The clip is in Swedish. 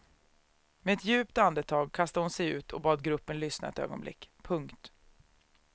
Med ett djupt andetag kastade hon sig ut och bad gruppen lyssna ett ögonblick. punkt